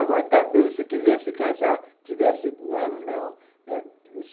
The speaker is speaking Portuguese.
Agora, também, se quisesse casar, tivesse de novo, não.